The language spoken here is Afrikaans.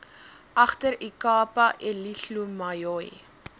agter ikapa elihlumayoi